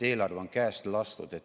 Eelarve on käest lastud.